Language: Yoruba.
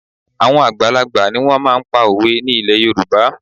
Àwọn àgbàlagbà ni wọ́n máa ń pa òwe ní ilẹ̀ Yorùbá